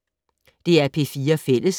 DR P4 Fælles